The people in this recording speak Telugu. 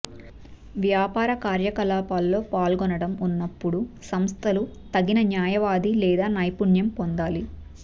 వ్యాపార కార్యకలాపాల్లో పాల్గొనడం ఉన్నప్పుడు సంస్థలు తగిన న్యాయవాది లేదా నైపుణ్యం పొందాలి